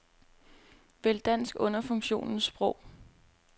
Vælg dansk under funktionen sprog.